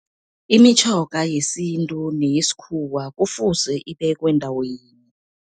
Imitjhoga yesintu neyesikhuwa kufuze ibekwe ndawo yinye.